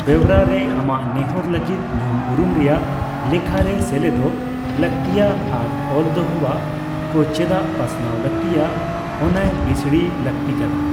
ᱵᱮᱣᱨᱟ ᱨᱮ, ᱟᱢᱟᱜ ᱱᱮᱦᱚᱨ ᱞᱟᱹᱜᱤᱫ ᱧᱩᱞ ᱩᱨᱩᱢ ᱨᱮᱭᱟᱜ ᱞᱮᱠᱷᱟ ᱨᱮ ᱥᱮᱞᱮᱫᱚᱜ ᱞᱟᱹᱠᱛᱤᱭᱟ ᱟᱨ ᱚᱞ ᱫᱚᱦᱚᱣᱟᱜ ᱠᱚ ᱪᱮᱫᱟᱜ ᱯᱟᱥᱱᱟᱣ ᱞᱟᱹᱠᱛᱤᱭᱟ ᱚᱱᱟᱭ ᱵᱤᱥᱲᱤᱭ ᱞᱟᱹᱠᱛᱤ ᱠᱟᱱᱟ ᱾